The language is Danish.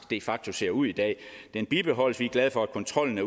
de facto ser ud i dag bibeholdes vi glade for at kontrollen